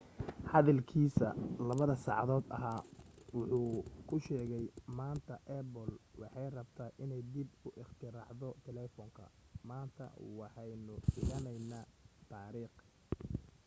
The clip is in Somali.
hadalkiisii 2-da saacadood ahaa wuxu ku sheegay maanta apple waxay rabtaa inay dib u ikhtiraacdo telefoonka maanta waxaynu dhigaynaa taariikh